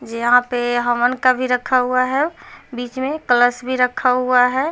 यहाँ पे हवन का भी रखा हुआ है बिच में कलश भी रखा हुआ है।